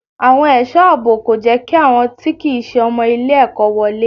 Àwọn ẹ̀sọ́ àbò kò jẹ́ kí àwọn tí kìí se ọmọ ilé ẹ̀kọ́ wọlé.